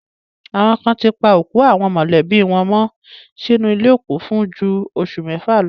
Àwọn kan ti pa òkú àwọn mọ̀lẹ́bí wọn mọ́ sínú ilé òkú fún ju oṣù mẹ́fà lọ.